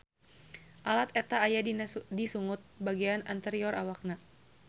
Alat eta aya di sungut bagean anterior awakna.